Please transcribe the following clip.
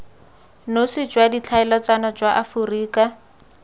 nosi jwa ditlhaeletsano jwa aforika